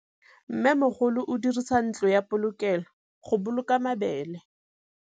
Mmêmogolô o dirisa ntlo ya polokêlô, go boloka mabele.